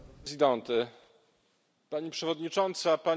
Pani Przewodnicząca, Panie i Panowie Posłowie!